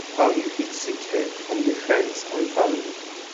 how you fit seek help from di friends and family